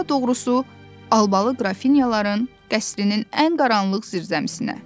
Daha doğrusu, Albalı qrafinyaların qəsrinin ən qaranlıq zirzəmisinə.